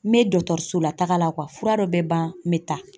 N bɛ dɔtɔriso la taaga la fura dɔ bɛ ban n bɛ taa.